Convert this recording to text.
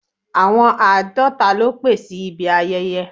Àwọn àádọ́ta ló pé sí ibi ayẹyẹ.